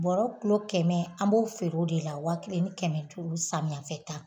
Bɔrɔ kulo kɛmɛ an b'o feere o de la waa kelen ni kɛmɛ duuru samiyɛafɛ ta